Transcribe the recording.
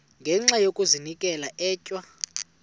ngenxa yokazinikela etywa